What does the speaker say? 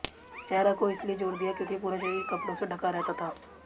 चेहरा को इसलिए जोर दिया क्योंकि पूरा शरीर कपड़ो से ढका रहता था